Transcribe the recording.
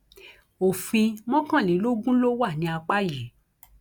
òfin mọkànlélógún ló wà ní apá yìí